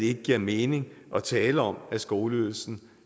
ikke giver mening at tale om at skoleydelsen